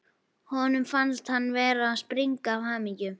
Honum fannst hann vera að springa af hamingju.